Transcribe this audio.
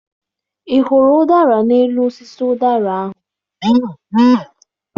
Ị hụrụ ụdara n'elu osisi ụdara ahụ?